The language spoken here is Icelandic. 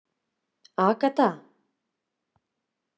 Agatha